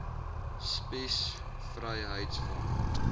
spies vryheids front